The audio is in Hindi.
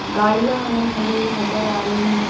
गाड़ियाँ हमें खड़ी नज़र आ रही हैं।